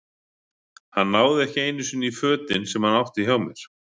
Hann náði ekki einu sinni í fötin sem hann átti hjá mér.